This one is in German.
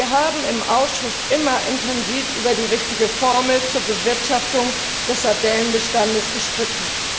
Wir haben im Ausschuss immer intensiv über die richtige Formel zur Bewirtschaftung des Sardellenbestandes gestritten.